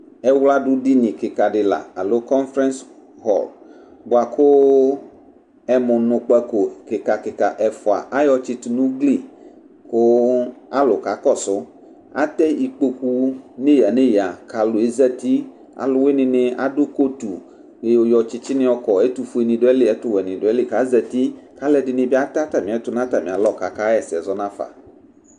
Ɛwladʋ dini kɩka dɩ la, alo conference hall bua kʋ ɛmʋnʋkpako kɩka kɩka ɛfua ayɔ tsɩtʋ n'ugli kʋʋ alʋ kakɔsʋ Atɛ ikpoku neyǝ neyǝ k'alʋ ezati Alʋwɩnɩnɩ adʋ coatu kpe yɔ yɔ tsɩtsɩnɩ yɔkɔ Ɛtʋfuenɩ dʋ ayili, ɛtʋwɛnɩ dʋ ayili k'azati k'alʋɛɖɩnɩ bɩ atɛ atamiɛtʋ n'atamɩ alɔ k'akaɣɛsɛ zɔnafa